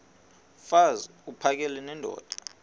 mfaz uphakele nendoda